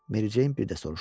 Mericeyn birdə soruşdu.